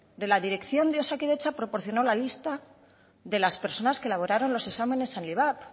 de la dirección de osakidetza proporciono la lista de las personas que elaboraron los exámenes al ivap